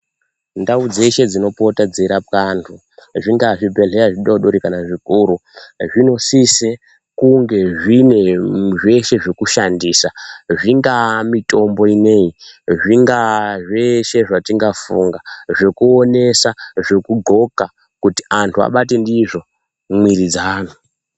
Ndau dzeshe dzinopota dzeiraoa antu zvingava zvibhedhlera zvidodori kana zvikora zvinosisa Kunge zvine zveshe zvekushandisa zvingava mitombo ineyi zvingavaa zveshe zvatingafunga zvekuinesa zvekugonka kuti antu abate ndizvo mwiri dzawo.